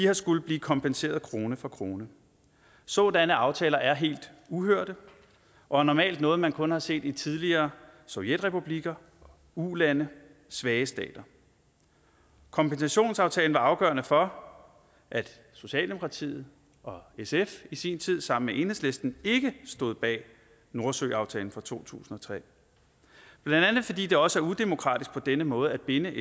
har skullet blive kompenseret krone for krone sådanne aftaler er helt uhørte og normalt noget man kun har set i tidligere sovjetrepublikker ulande svage stater kompensationsaftalen var afgørende for at socialdemokratiet og sf i sin tid sammen med enhedslisten ikke stod bag nordsøaftalen fra to tusind og tre blandt andet fordi det også er udemokratisk på denne måde at binde